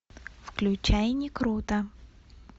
включай не круто